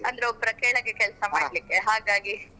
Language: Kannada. ಅಂದ್ರೆ ಒಬ್ಬರ ಕೆಳಗೆ ಕೆಲ್ಸ ಮಾಡ್ಲಿಕ್ಕೆ ಹಾಗಾಗಿ.